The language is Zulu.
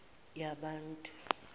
yabantu